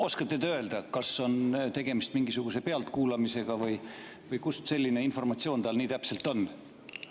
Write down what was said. Oskate te öelda, kas on tegemist mingisuguse pealtkuulamisega või kust selline informatsioon tal nii täpselt on?